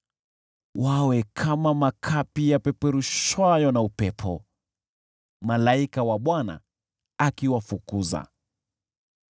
Wawe kama makapi yapeperushwayo na upepo, malaika wa Bwana akiwafukuza.